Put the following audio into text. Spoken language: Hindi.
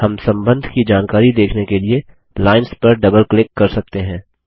हम सम्बन्ध की जानकारी देखने के लिए लाइंस पर डबल क्लिक कर सकते हैं